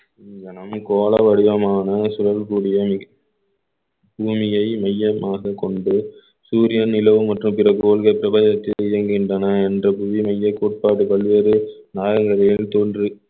கோள வடிவமான சுழற் பொழியம் பூமியை மையமாகக் கொண்டு சூரியன் நிலவு மற்றும் பிறகோள்கள் பிரபஞ்சத்தில் இயங்குகின்றன என்ற புதிய மையக்கோட்பாடு பல்வேறு நாகங்கள் ஏறி தோன்றி~